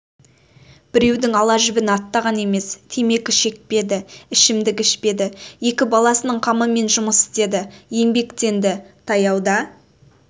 біреудің ала жібін аттаған емес темекі шекпеді ішімдік ішпеді екі баласының қамымен жұмыс істеді еңбектенді таяуда